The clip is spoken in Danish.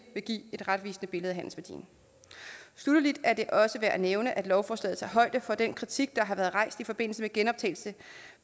vil give et retvisende billede af handelsværdien sluttelig er det også værd at nævne at lovforslaget tager højde for den kritik der har været rejst i forbindelse med genoptagelse